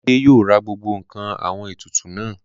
Olúmidé yóò ra gbogbo ǹkan àwọn ètùtù náà